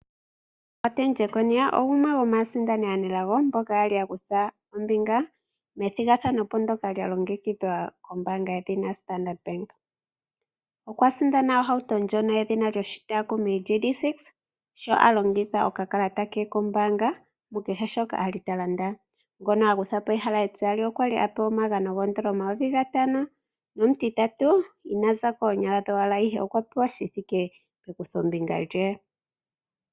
Martin Jeckonia gumwe gomaasindani aanelago, ngoka ali akutha ombinga methigathano ndyoka lyalongekidhwa kombaanga yedhina Standard Bank. Okwa li asinda ohauto ndjono yedhina lyoshitaakumi GD-6Raider sho alongitha okakalata ke kombaanga, mukehe shoka ali talanda. Ngono ali akuthapo ehala etiyali okwali apewa omagano N$5000 nomutitatu inaza po oonyala dhowala, ihe okwa pewa shithike pekuthombinga lye.